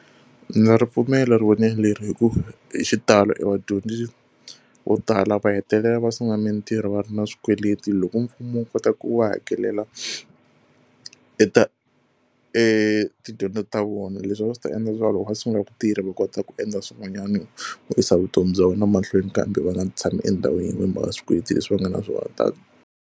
Ni na ripfumelo leri hikuva hi xitalo evadyondzi vo tala va hetelela va sungula mitirho va ri na swikweleti. Loko mfumo wu kota ku va hakelela e etidyondzo ta vona, leswi a swi ta endla leswaku loko va sungula ku tirha va kota ku endla swin'wanyana ku yisa vutomi bya vona mahlweni kambe va nga tshami endhawu yin'we hi mhaka swikweleti leswi va nga na swona .